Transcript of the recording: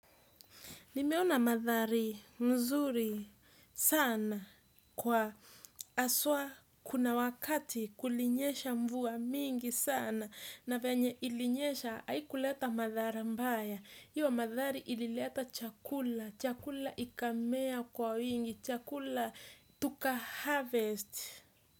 Nimeona mandhari mzuri sana kwa haswa, kuna wakati kulinyesha mvua mingi sana na venye ilinyesha haikuleta madhara mbaya. Hiyo mandhari ilileta chakula, chakula ikamea kwa wingi, chakula tuka harvest.